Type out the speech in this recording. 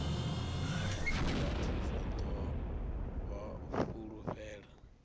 vhathu zwa ḓo vha fulufhela